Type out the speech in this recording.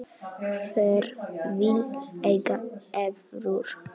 Hver vill eiga evrur?